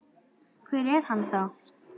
Hver er hann þá?